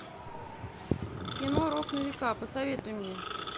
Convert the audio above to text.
кино рок на века посоветуй мне